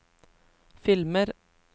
filmer